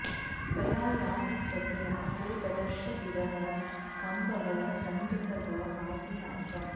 कया॑ याति स्व॒धया॒ को द॑दर्श दि॒वः स्क॒म्भः समृ॑तः पाति॒ नाक॑म्